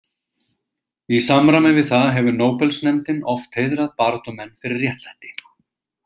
Í samræmi við það hefur nóbelsnefndin oft heiðrað baráttumenn fyrir réttlæti.